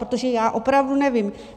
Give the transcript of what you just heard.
Protože já opravdu nevím.